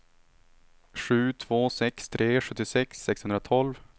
sju två sex tre sjuttiosex sexhundratolv